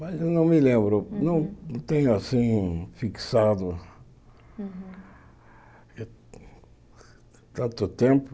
Mas eu não me lembro, não tenho assim fixado tanto tempo.